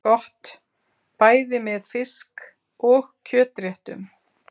Gott bæði með fisk- og kjötréttum.